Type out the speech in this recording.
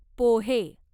पोहे